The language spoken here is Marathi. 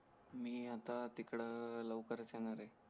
मी आता तिकडं लवकरच येणार आहे